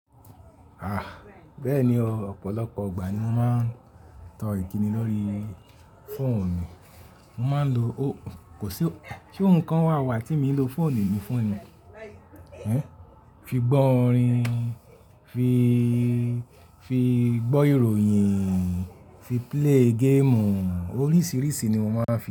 A! Bẹ́ẹ̀ni o, ọ̀pọ̀lọpọ̀ ìgbà ni mo máa ń tọ ìkíni lórí fóòn mi, mo máa ń lo o-- kò sí o-- ṣe ohun kan wà wà tí èmi ń lo fóònù mi fún ni? Hun? Fi gbọ́ orin, fii, fii gbọ́ ìròyìn, fi play game, oríṣìíríṣìí ni mo máa ń fi.